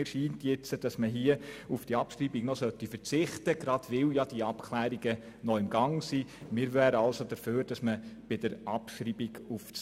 Mir scheint nun, dass man gegenwärtig auf diese Abschreibung verzichten sollte, weil die Abklärungen ja noch im Gange sind.